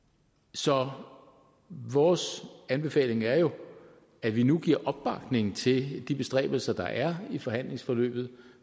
så vores anbefaling er jo at vi nu giver opbakning til de bestræbelser der er i forhandlingsforløbet